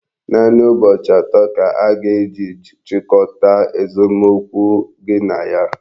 Naanị ụbọchị atọ ka a ga-eji chịkọta esomokwu gị na ya.